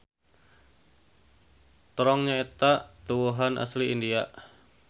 Terong nyaeta tuwuhan asli India.